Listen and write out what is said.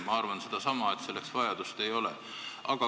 Ma arvan sedasama, et selleks vajadust ei ole.